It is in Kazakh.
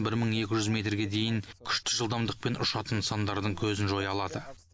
бір мың екі жүз метрге дейін күшті жылдамдықпен ұшатын нысандардың көзін жоя алады